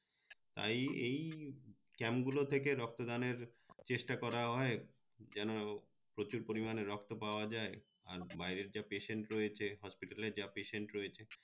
তাই এই camp গুলো থেকে রক্ত দানের চেষ্টা করা হয় যেনো প্রচুর পরিমানে রক্ত পাওয়া যায় আর বাইরের যে patient রয়েছে hospital যা patient রয়েছে